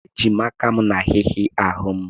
Eji m aka m na-ahị́hị̀a ahụ́ m.